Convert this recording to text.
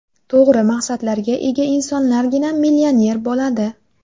To‘g‘ri maqsadlarga ega insonlargina millioner bo‘ladi.